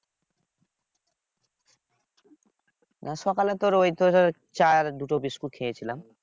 সকালে তোর ওই তোর চা আর দুটো বিস্কুট খেয়েছিলাম।